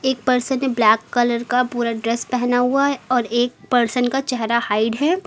एक पर्सन ने black colour का पूरा ड्रेस पहना हुआ है और एक पर्सन का चहरा हाइड है।